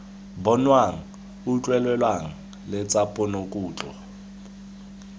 bonwang utlwelelwang le tsa ponokutlo